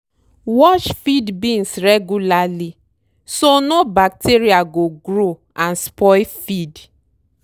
wash feed bins regularly so no bacteria go grow and spoil feed.